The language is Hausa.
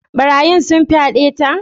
Barayin sun fyade ta?